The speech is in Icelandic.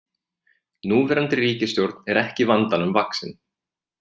Núverandi ríkisstjórn er ekki vandanum vaxin